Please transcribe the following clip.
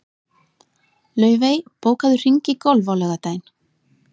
Laufey, bókaðu hring í golf á laugardaginn.